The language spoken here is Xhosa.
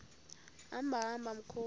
hamba hamba mkhozi